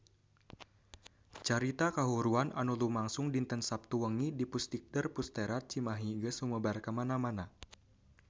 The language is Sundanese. Carita kahuruan anu lumangsung dinten Saptu wengi di Pusdikter Pusterad Cimahi geus sumebar kamana-mana